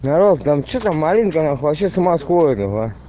здорово там че там алинка нах вообще с ума сходит ебать